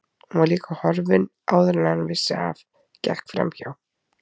Hún var líka horfin áður en hann vissi af, gekk framhjá